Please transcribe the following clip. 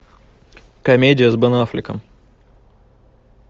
комедия с бен аффлеком